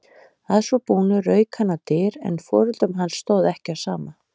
Að svo búnu rauk hann á dyr en foreldrum hans stóð ekki á sama.